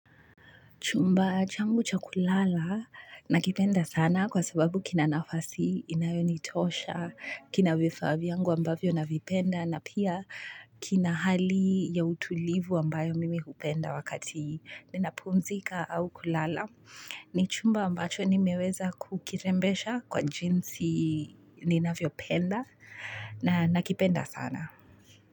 Chumba changu cha kulala nakipenda sana kwa sababu kina nafasi, inayonitosha, kina vifaa vyangu ambavyo navipenda na pia kina hali ya utulivu ambayo mimi hupenda wakati ninapumzika au kulala. Ni chumba ambacho nimeweza kukirembesha kwa jinsi ninavyopenda na nakipenda sana.